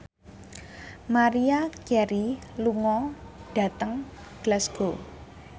Maria Carey lunga dhateng Glasgow